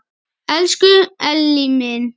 Elsku Elli minn.